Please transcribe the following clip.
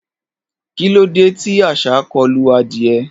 Kilode ti àṣá kolu adie?